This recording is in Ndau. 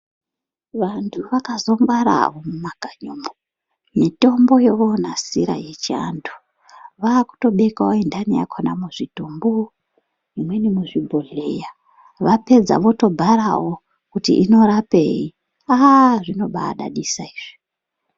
Vanhu vakazongwara mumakanyimo mitombo yovonasira yechiantu vakutobeka inhani yakona muzvitumbu imweni muzvibhohleya vapedza votobharawo kuti inorapei aa zvinobaidadisa izvi